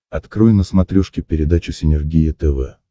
открой на смотрешке передачу синергия тв